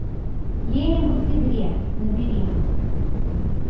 ленин в октябре набери